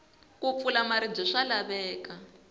ku pfula maribye swa laveka